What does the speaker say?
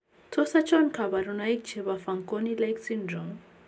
Tos achon kabarunaik chebo Fanconi like syndrome ?